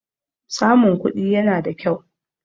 Samun kuɗi yana da kyau.